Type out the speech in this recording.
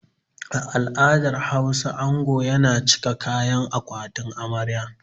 A al'adar Hausa, ango yana cika kayan akwatin amarya.